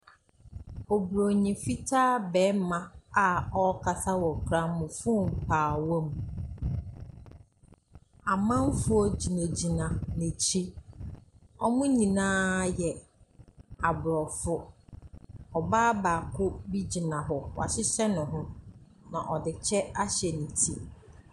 Oburoni fitaa bɛɛma a ɔkasa wɔ gramɔfon paawa mu. Amanfoɔ gyinagyina n'akyi. Wɔmo nyinaa yɛ Aborɔfo. Ɔbaa baako bi gyina hɔ. Wahyehyɛ ne ho, na ɔde kyɛ ahyɛ neti.